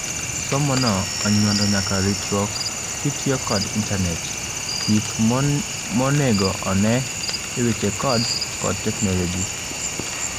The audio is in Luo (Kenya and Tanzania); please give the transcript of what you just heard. Somono onyuando nyaka ritruok kitiyo kod internate, gik monego on'ee eweche codes kod teknologia.